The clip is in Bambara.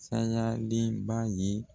Saɲaliba ɲi